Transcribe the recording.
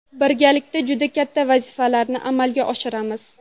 Birgalikda juda katta vazifalarni amalga oshiramiz.